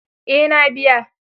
Eh na biya.